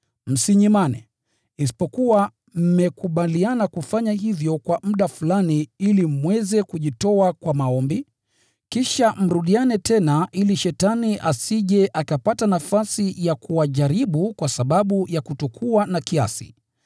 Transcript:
Msinyimane, isipokuwa mmekubaliana kufanya hivyo kwa muda fulani ili mweze kujitoa kwa maombi, kisha mrudiane tena ili Shetani asije akapata nafasi ya kuwajaribu kwa sababu ya kutokuwa na kiasi.